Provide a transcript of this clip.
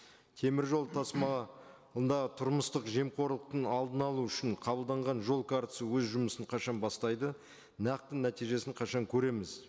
темір жол тұрмыстық жемқорлықтың алдын алу үшін қабылданған жол картасы өз жұмысын қашан бастайды нақты нәтижесін қашан көреміз